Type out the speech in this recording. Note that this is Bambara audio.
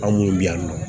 An minnu bɛ yan nɔ